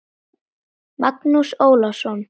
Magnús Ólason.